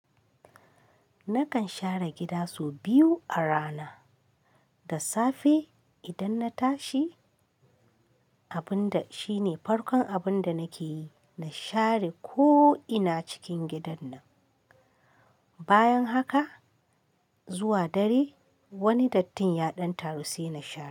Nakan share gida sau biyu a rana. Da safe idan na tashi, abin da shine farkon abin da nake yi, na share ko ina cikin gidan nan. Bayan haka zuwa dare wani dattin ya ɗan taru sai na share.